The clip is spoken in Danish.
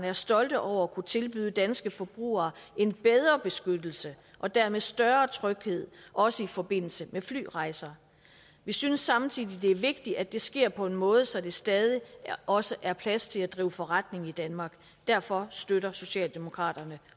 er stolte over at kunne tilbyde danske forbrugere en bedre beskyttelse og dermed større tryghed også i forbindelse med flyrejser vi synes samtidig det er vigtigt at det sker på en måde så der stadig også er plads til at drive forretning i danmark derfor støtter socialdemokraterne